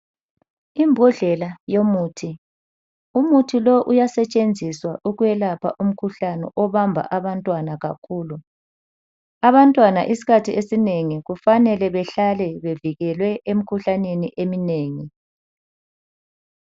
Imbodlela yomuthi umuthi lo uyasetshenziwa ukwelapha umkhuhlane obamba abantwana kakhulu. Abantwana isikhathi esinengi kufanele behlale bevikelwe emkhuhlaneni emnengi.